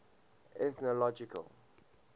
ethnological